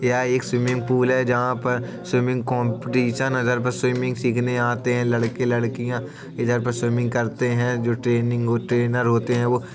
यह एक swimming pool है। जहाँ पर स्विमिंग कॉम्पिटिशन अगर स्विमिंग सीखने आते हैं। लड़के लड़कियां इधर पर स्विमिंग करते हैं जो ट्रेनिंग ट्रेनर होते हैं वो --